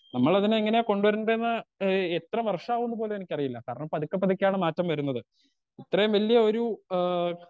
Speaker 2 നമ്മളതിനെ എങ്ങനെയാ കൊണ്ട് വരണ്ടേന്ന് ഏ എത്ര വർഷാവുംന്ന് പോലും എനിക്കറിയില്ല കാരണം പതുക്കെ പതുക്കെയാണ് മാറ്റം വരുന്നത് ഇത്രേം വല്ല്യ ഒരു ഏ.